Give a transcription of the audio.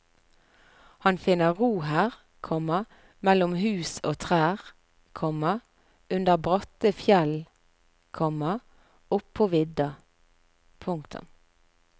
Han finner ro her, komma mellom hus og trær, komma under bratte fjell, komma oppå vidda. punktum